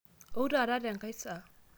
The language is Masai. ou taata tenkae saa?